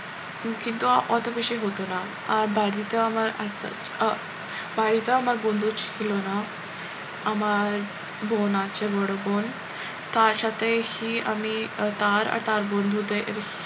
কিন্তু অত বেশি হতো না আর বাড়িতে আমার আহ বাড়িতেও আমার বন্ধু ছিল না আমার বোন আছে বড় বোন তার সাথে হি আমি তার আর তার বন্ধুদের,